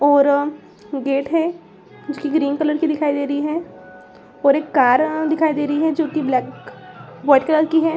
और अ गेट है जो कि ग्रीन कलर की दिखाई दे रही है और एक कार अ दिखाई दे रही है जो कि ब्लैक वॉइट कलर की है।